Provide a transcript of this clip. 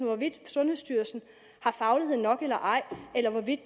hvorvidt sundhedsstyrelsen har faglighed nok eller ej eller hvorvidt